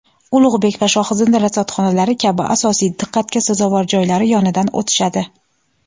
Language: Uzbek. Ulug‘bek va "Shohizinda" rasadxonalari kabi asosiy diqqatga sazovor joylari yonidan o‘tishadi.